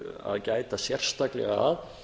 að gæta sérstaklega að